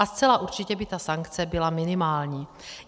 A zcela určitě by ta sankce byla minimální.